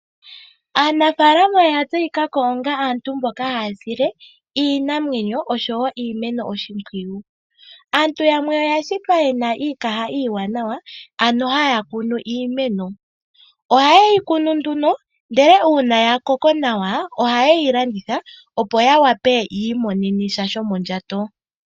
Aanafalama oya tseyikako onga aantu mboka ha ya sile iinamwenyo osho woo iimeno oshimpwuyu. Aantu yamwe oya shitwa ye na iikaha iiwanawa, ano ha ya kunu iimeno. Oha ye yi kunu nduno ndele uuna ya koko nawa, ohaye yi landitha opo ya wape yiimonene sha shomondjato.